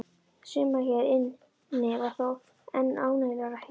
Suma hér inni var þó enn ánægjulegra að hitta!